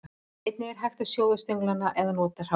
Einnig er hægt að sjóða stönglana eða nota hráa.